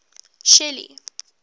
shelly